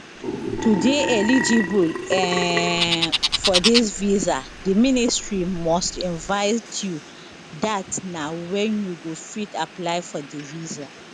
to dey eligible um for dis visa di ministry must invite you dat na wen you go fit apply for di visa